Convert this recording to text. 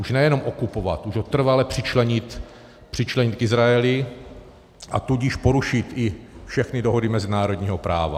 Už nejenom okupovat, už ho trvale přičlenit k Izraeli, a tudíž porušit i všechny dohody mezinárodního práva.